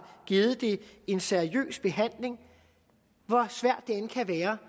givet det en seriøs behandling hvor svært det end kan være